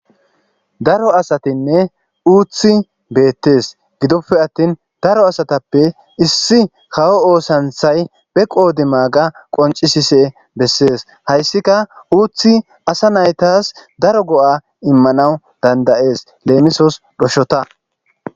daro asatinne uuthi beettes gidoppe attin daro asatappe issi kawo oosanthay be qoodi maaga qoncisise bessees hayssika uuthi asa naytas daro go7a immanawu dandayees leemisos dhoshota